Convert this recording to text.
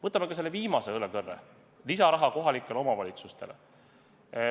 Võtame ka selle viimase õlekõrre, lisaraha kohalikele omavalitsustele.